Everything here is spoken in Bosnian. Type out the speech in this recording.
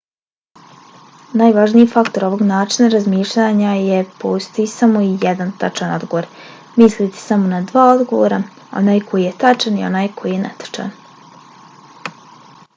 najvažniji faktor ovog načina razmišljanja je: postoji samo jedan tačan odgovor. mislite samo na dva odgovora – onaj koji je tačan i onaj koji je netačan